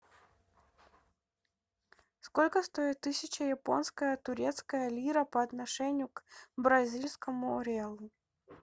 сколько стоит тысяча японская турецкая лира по отношению к бразильскому реалу